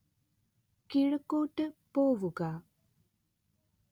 കിഴക്കോട്ട് പോവുക